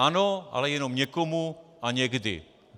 Ano, ale jenom někomu a někdy.